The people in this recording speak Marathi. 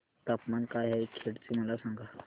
तापमान काय आहे खेड चे मला सांगा